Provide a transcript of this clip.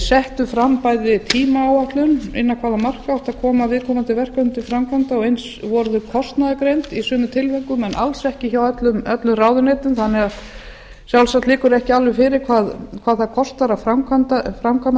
settu fram tímaáætlun innan hvaða marka átti að koma viðkomandi verkefnum til framkvæmda og eins voru þau kostnaðargreind í sumum tilvikum en alls ekki hjá öllum ráðuneytum þannig að sjálfsagt liggur það ekki alveg fyrir hvað það kostar að framkvæma